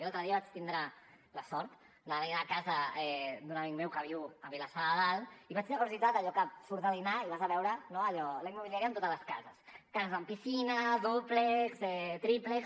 l’altre dia vaig tindre la sort d’anar a dinar a casa d’un amic meu que viu a vilassar de dalt i vaig tenir curiositat allò que surts de dinar i vas a veure no allò la immobiliària amb totes les cases cases amb piscina dúplex tríplex